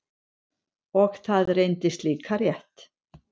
Og það reyndist líka rétt.